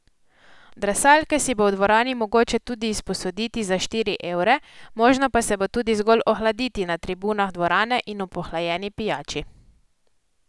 Drsalke si bo v dvorani mogoče tudi izposoditi za štiri evre, možno pa se bo tudi zgolj ohladiti na tribunah dvorane in ob ohlajeni pijači.